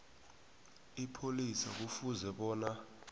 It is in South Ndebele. ipholisa kufuze bona